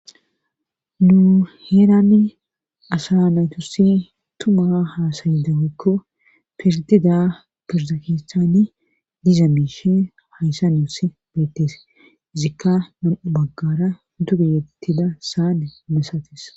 nu heerani asa naytussi tuma haasayidawekko firtida firzakistaani diza miishi hayssa nioss beettees izikka nam7u baggara duge yettida saane mesatis